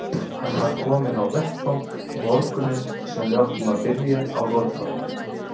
Hann var kominn á vettvang morguninn sem við áttum að byrja á rotþrónni.